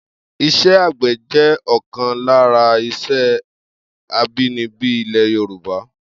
Isé̩ àgbè̩ jé̩ ò̩kan lára is̩é̩ abínibí ilè̩ Yorùbá